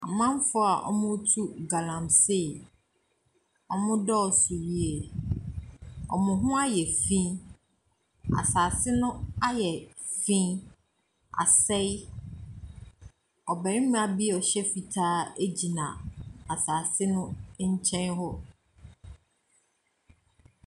Amanfoɔ a wɔretu galamsey. Wɔdɔɔso yie. Wɔn ho ayɛ fi. Asase no ayɛ fi. Asɛe. Ɔbarima bi a ɔhyɛ fitaa gyina asase no nkyɛn hɔ.